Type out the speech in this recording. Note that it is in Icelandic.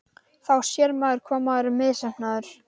Krakkarnir eru komnir á víð og dreif um húsið.